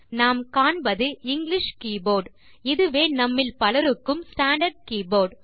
நாம் காண்பது English keyboard இதுவே நம்மில் பலருக்கும் ஸ்டாண்டார்ட் கீபோர்ட்